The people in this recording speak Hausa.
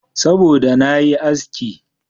Saboda da na yi aski.